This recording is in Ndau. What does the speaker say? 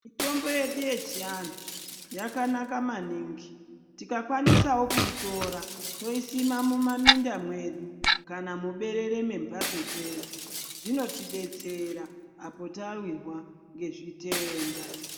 Mitombo yedu yechianhu yajanaka maningi tikakwanisawo kuitora toisima mumaminda mwedu kana muberere mwemhatso dzedu zvinotidetsera apo tawirwa ngezvitenda.